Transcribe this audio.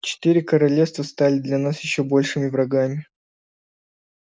четыре королевства стали для нас ещё большими врагами